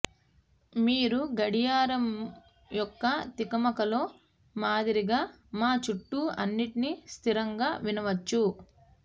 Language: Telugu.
మీరు గడియారం యొక్క తికమకలో మాదిరిగా మా చుట్టూ అన్నిటిని స్థిరంగా వినవచ్చు